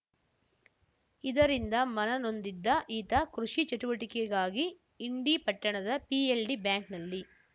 ಇದರಿಂದ ಮನನೊಂದಿದ್ದ ಈತ ಕೃಷಿ ಚಟುವಟಿಕೆಗಾಗಿ ಇಂಡಿ ಪಟ್ಟಣದ ಪಿಎಲ್‌ಡಿ ಬ್ಯಾಂಕ್‌ನಲ್ಲಿ